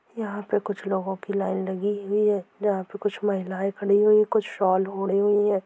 वह यहां पे कुछ लोगों की लाइन लगी हुई है जहां पे कुछ महिला खड़ी हुई कुछ शॉल ओडे हुई है।